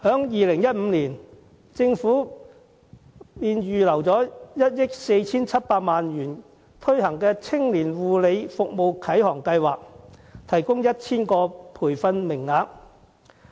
2015年，政府預留1億 4,700 萬元推行"青年護理服務啟航計劃"，提供 1,000 個培訓名額。